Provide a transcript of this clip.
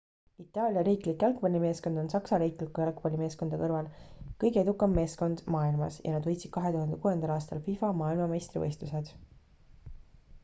itaalia riiklik jalgpallimeeskond on saksa riikliku jalgpallimeeskonna kõrval kõige edukam meeskond maailmas ja nad võitsid 2006 aasta fifa maailmameistrivõistlused